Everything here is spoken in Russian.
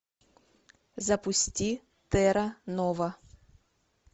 запусти терра нова